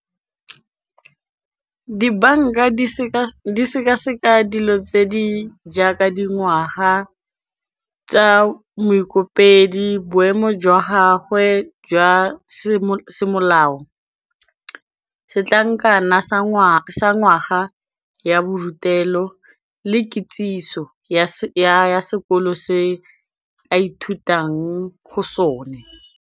Dibanka di di seka seka dilo tse di jaaka dingwaga tsa moekopedi, boemo jwa gagwe jwa semolao, setlankana sa ngwaga ya borutelo le kitsiso ya sekolo se a ithutang go sone.